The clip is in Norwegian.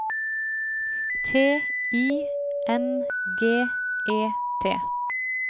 T I N G E T